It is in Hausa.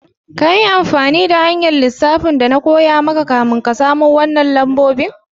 Ka yi amfani da hanya'n lissafin da na koya ma kafin ka samo wanan lambobin?